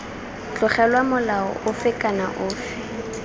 tlogelwa molao ofe kana ofe